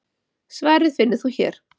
Svarið finnur þú hér.